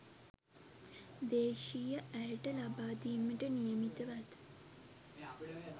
දේශීය ඇයට ලබාදීමට නියමිතව ඇත